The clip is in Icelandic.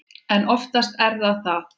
En oftast er það